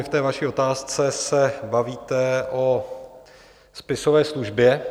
I v té vaší otázce se bavíte o spisové službě.